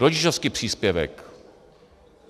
Rodičovský příspěvek.